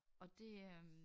Og det øh